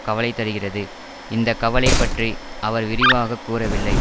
கவலை தருகிறது இந்த கவலை பற்றி அவர் விரிவாக கூறவில்லை